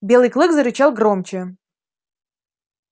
белый клык зарычал громче